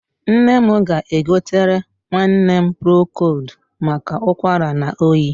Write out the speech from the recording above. Nne m ga-egotere nwanne m prokold maka ụkwara na oyi.